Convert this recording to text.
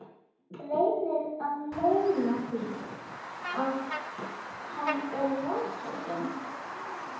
Reynir að leyna því að hann er vonsvikinn.